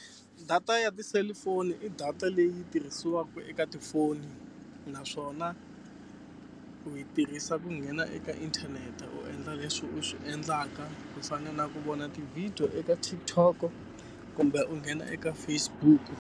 Data ya tiselifoni i data leyi tirhisiwaka eka tifoni naswona u yi tirhisa ku nghena eka inthanete u endla leswi u swi endlaka, ku fana na ku vona ti-video eka TikTok-o kumbe u nghena eka Facebook-u.